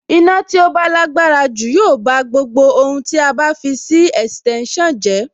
Iná tí ó bá lágbára jù yóò bá gbogbo ohun tí a bá fi sí ẹ̀sìtẹ́nsàn jẹ́.